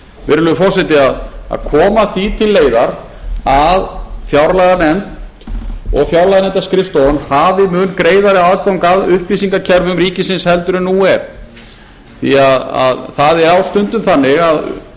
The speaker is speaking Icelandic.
virðulegi forseti að koma því til leiðar að fjárlaganefnd og fjárlaganefndarskrifstofan hafi mun greiðari aðgang að upplýsingakerfum ríkisins heldur en nú er því það er á stundum þannig að